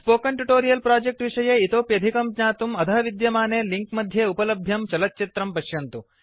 spoken tutorial project विषये इतोप्यधिकं ज्ञातुम् अधः विद्यमाने लिंक मध्ये उपलभ्यं चलच्चित्रं पश्यन्तु